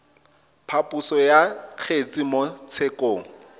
phaposo ya kgetse mo tshekong